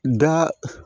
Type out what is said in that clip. Da